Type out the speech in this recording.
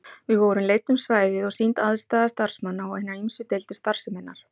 Við vorum leidd um svæðið og sýnd aðstaða starfsmanna og hinar ýmsu deildir starfseminnar.